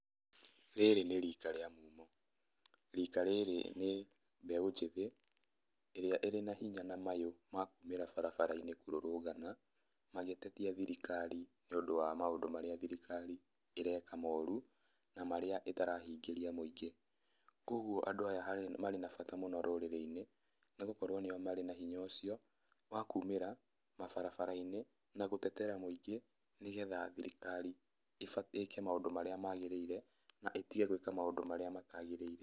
Rĩrĩ nĩ rika rĩa mumo. Rĩka rĩrĩ nĩ mbeũ njĩthĩ, ĩrĩa ĩrĩ na hinya na mayũ makumĩra barabara-inĩ kũrũrũngana, magĩtetia thirikari nĩ ũndũ wa maũndũ marĩa thirikari ĩreka moru, na marĩa ĩtarahingĩria mũingĩ. Koguo andũ aya harĩ, marĩ na bata mũno rũrĩrĩ-inĩ, nĩgũkorwo nĩo marĩ na hinya ũcio, wa kumĩra, mabarabara-inĩ, gũtetera mũingĩ nanĩgetha thirikari ĩke maũndũ marĩa magĩrĩire na ĩtige gwĩka maũndũ marĩa matagĩrĩire.